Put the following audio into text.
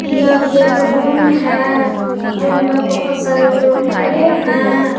यह एक रूम है रूम मे बहुत सारे लोग खड़े है।